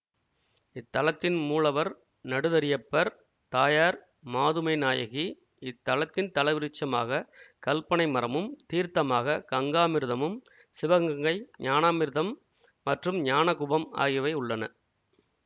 இத்தலத்தின் மூலவர் நடுதறியப்பர் தாயார் மாதுமைநாயகி இத்தலத்தின் தலவிருட்சமாக கல்பனை மரமும் தீர்த்தமாக கங்காமிர்தமும் சிவகங்கை ஞானாமிர்தம் மற்றும் ஞானகுபம் ஆகியவை உள்ளன